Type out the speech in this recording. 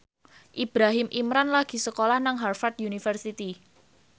Ibrahim Imran lagi sekolah nang Harvard university